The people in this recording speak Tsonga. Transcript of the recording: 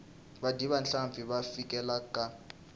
vadyi va nhlampfi va fikile khale